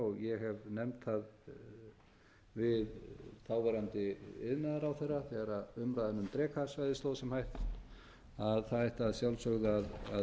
og ég hef nefnt það við þáverandi iðnaðarráðherra þegar umræðan um drekasvæðið stóð sem hæst að það ætti að sjálfsögðu að einbeita sér að